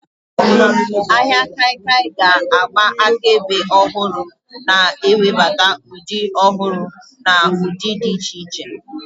Ahịa kaikia ga-agba akaebe ọhụrụ, na-ewebata ụdị ọhụrụ na ụdị dị iche iche.